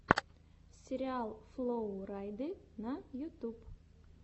сериал флоу райды на ютьюбе